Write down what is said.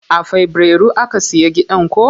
A fabrairu aka siya gidan ko?